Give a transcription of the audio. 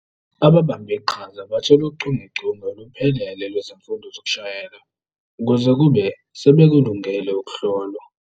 Ababambiqhaza bathola uchungechunge oluphelele lwezifundo zokushayela, kuze kube sebekulungele ukuhlolwa.